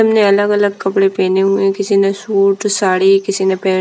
हमने अलग अलग कपड़े पहने हुए हैं किसी ने सूट साड़ी किसी ने पे --